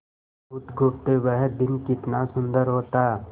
बुधगुप्त वह दिन कितना सुंदर होता